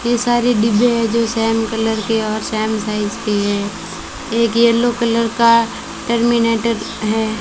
कई सारे डिब्बे है जो सेम कलर के और सेम साइज की है एक येल्लो कलर का टर्मिनेटर है।